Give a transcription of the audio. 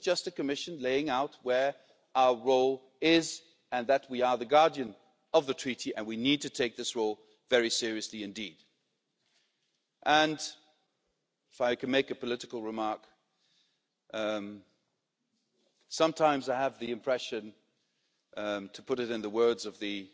This is just the Commission setting out what our role is and pointing out that we are the guardian of the Treaty and we need to take this role very seriously indeed. If I may make a political remark sometimes I have the impression to put it in the words of the